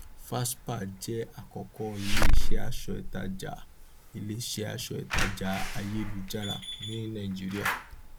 fashpa jẹ àkọkọ iléiṣẹ aṣọ ìtajà iléiṣẹ aṣọ ìtajà ayélujára ní nàìjíríà